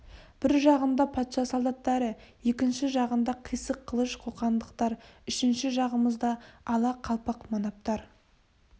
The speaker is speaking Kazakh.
бір жағында патша солдаттары екінші жағында қисық қылыш қоқандықтар үшінші жағымызда ала қалпақ манаптар